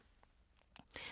Radio 4